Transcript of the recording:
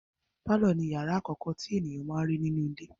Pálọ̀ ni ìyàrá àkọ́kọ́ tí ènìyàn máa n rí nínú ilé.